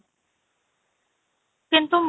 କିନ୍ତୁ ମୁଁ